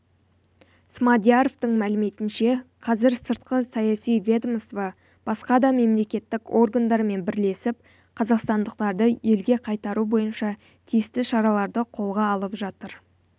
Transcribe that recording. смадияровтың мәліметінше қазір сыртқы саяси ведомство басқа дамемлекеттік органдармен бірлесіп қазақстандықтарды елге қайтару бойынша тиісті шараларды қолға алып жатыр